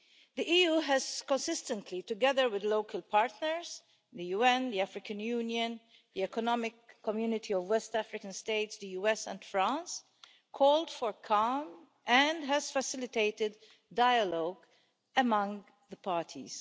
The EU has consistently, together with local partners the UN, the African Union, the Economic Community of West African States the US and France called for calm and has facilitated dialogue among the parties.